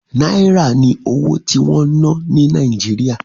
Náírà ni owó tí wọ́n ń ná ní Nàìjíríà